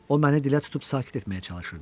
O məni dilə tutub sakit etməyə çalışırdı.